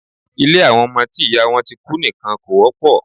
Ilé àwọn ọmọ tí ìyá wọn ti kú nìkan kò wọ́pọ̀.